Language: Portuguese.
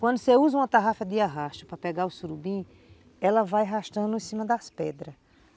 Quando você usa uma tarrafa de arrasto para pegar o surubim, ela vai arrastando em cima das pedras.